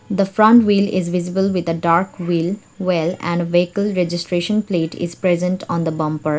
the front wheel is visible with a dark wheel well and a vehicle registration plate is present on the bumper.